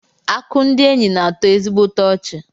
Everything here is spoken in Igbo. Akụ ndị enyi na-atọ ezigbote ọchị.